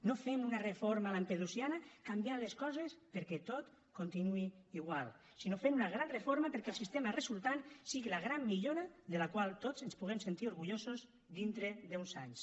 no fem una reforma lampedusiana canviant les coses perquè tot continuï igual sinó fent una gran reforma perquè el sistema resultant sigui la gran millora de la qual tots ens puguem sentit orgullosos dintre d’uns anys